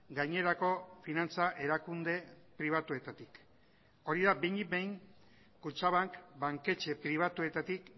gainerako finantza erakunde pribatuetatik hori da behinik behin kutxabank banketxe pribatuetatik